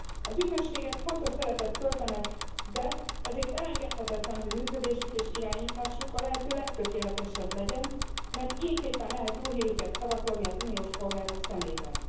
Az ügynökségek fontos szerepet töltenek be, ezért elengedhetetlen, hogy működésük és irányításuk a lehető legtökéletesebb legyen, mert ilyenképpen lehet jó hírüket szavatolni az uniós polgárok szemében.